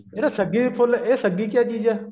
ਜਿਹੜਾ ਸੱਗੀ ਫੁੱਲ ਇਹ ਸੱਗੀ ਕਿਆ ਚੀਜ਼ ਐ